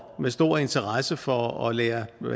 med stor interesse for at lære